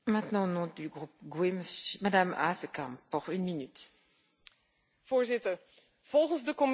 Voorzitter, volgens de Commissie is dit akkoord met Australië in het belang van de burgers en de wereld.